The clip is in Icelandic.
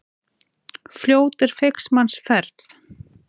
Fljót er feigs manns ferð.